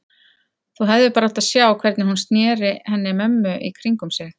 Þú hefðir bara átt að sjá hvernig hún sneri henni mömmu í kringum sig.